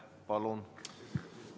Palun!